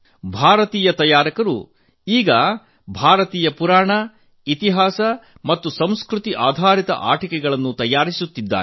ಭಾರತೀಯ ಆಟಿಕೆ ತಯಾರಕರು ಇದೀಗ ಭಾರತೀಯ ಪುರಾಣ ಇತಿಹಾಸ ಮತ್ತು ಸಂಸ್ಕೃತಿ ಆಧಾರಿತ ಆಟಿಕೆಗಳ ತಯಾರಿಕೆಯಲ್ಲಿ ತೊಡಗಿದ್ದಾರೆ